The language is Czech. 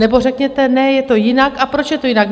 Nebo řekněte ne, je to jinak a proč je to jinak.